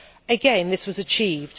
Again, this was achieved.